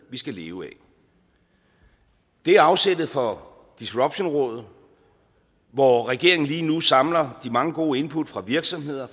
vi skal leve af det er afsættet for disruptionrådet hvor regeringen lige nu samler de mange gode input fra virksomheder